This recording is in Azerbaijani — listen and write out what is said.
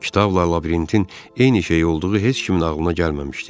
Kitabla labirintin eyni şey olduğu heç kimin ağlına gəlməmişdi.